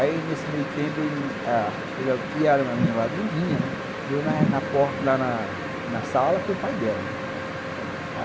Aí, nesse meio tempo, ele a e a menina lá não vinha, né, eu na sala com o pai dela.